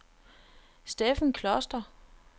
Steffen Kloster